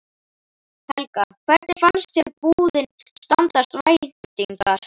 Helga: Hvernig finnst þér búðin standast væntingar?